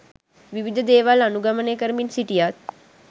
විවිධ දේවල් අනුගමනය කරමින් සිටියත්